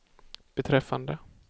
beträffande